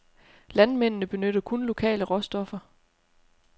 Landmændene benytter kun lokale råstoffer.